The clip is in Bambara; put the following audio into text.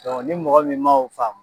ni mɔgɔ min ma o famu